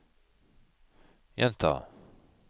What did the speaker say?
gjenta